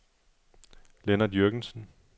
Lennart Jürgensen